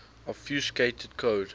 obfuscated code